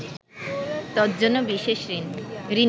তজ্জন্য বিশেষ ঋণী